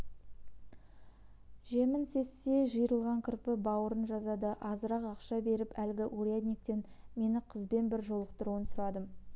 жемін сезсе жиырылған кірпі бауырын жазады азырақ ақша беріп әлгі урядниктен мені қызбен бір жолықтыруын сұрадым